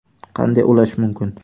Qanday ulash mumkin ?